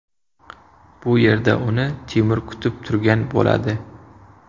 Bu yerda uni Timur kutib turgan bo‘ladi.